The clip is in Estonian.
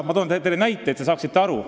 Ma toon teile näite, et te saaksite aru.